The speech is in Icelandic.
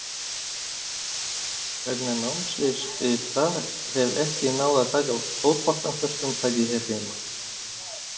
Vegna námsins ytra hef ekki náð að taka fótboltann föstum tökum hér heima.